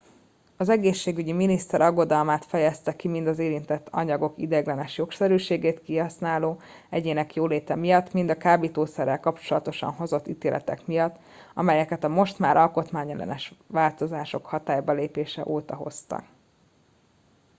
az egészségügyi miniszter aggodalmát fejezte ki mind az érintett anyagok ideiglenes jogszerűségét kihasználó egyének jóléte miatt mind a kábítószerrel kapcsolatosan hozott ítéletek miatt amelyeket a most már alkotmányellenes változások hatálybalépése óta hoztak